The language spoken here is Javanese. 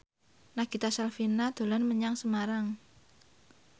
Nagita Slavina dolan menyang Semarang